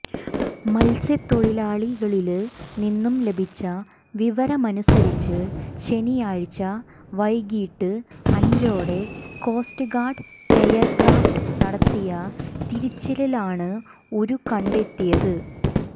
മത്സ്യത്തൊഴിലാളികളില് നിന്ന് ലഭിച്ച വിവരമനുസരിച്ച് ശനിയാഴ്ച വൈകീട്ട് അഞ്ചോടെ കോസ്റ്റ്ഗാര്ഡ് എയര്ക്രാഫ്റ്റ് നടത്തിയ തിരച്ചിലിലാണ് ഉരു കെണ്ടത്തിയത്